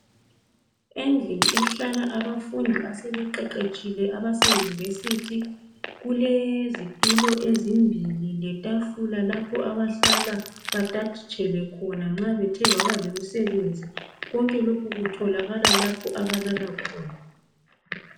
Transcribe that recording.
Endlini ehlala abafundi asebeqeqetshile abaseyunivesithi kulezitulo ezimbili letafula lapho abahlala batajitshele khona nxa bethe babalemsebenzi konke lokhu kutholakala lapho abalala khona.